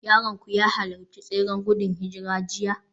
Yaronku ya halarci tseren gudun hijira jiya?